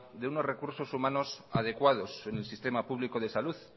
de unos recursos humanos adecuados en el sistema público de salud